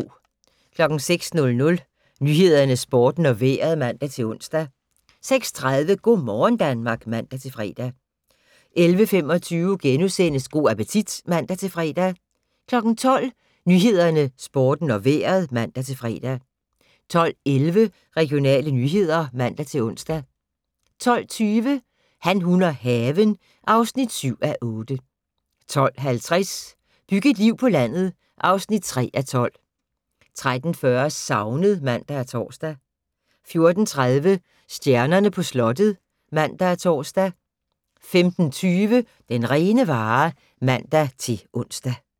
06:00: Nyhederne, Sporten og Vejret (man-ons) 06:30: Go' morgen Danmark (man-fre) 11:25: Go' appetit *(man-fre) 12:00: Nyhederne, Sporten og Vejret (man-fre) 12:11: Regionale nyheder (man-ons) 12:20: Han, hun og haven (7:8) 12:50: Byg et liv på landet (3:12) 13:40: Savnet (man og tor) 14:30: Stjernerne på slottet (man og tor) 15:20: Den rene vare (man-ons)